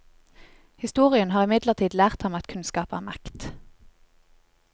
Historien har imidlertid lært ham at kunnskap er makt.